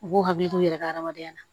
U k'u hakili t'u yɛrɛ ka hadamadenya la